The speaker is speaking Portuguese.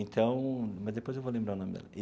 Então, mas depois eu vou lembrar o nome dela e.